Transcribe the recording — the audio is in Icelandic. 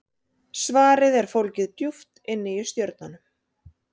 Svarið er fólgið djúpt inni í stjörnunum.